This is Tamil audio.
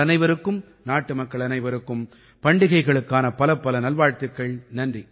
உங்கள் அனைவருக்கும் நாட்டுமக்கள் அனைவருக்கும் பண்டிகைகளுக்கான பலப்பல நல்வாழ்த்துக்கள்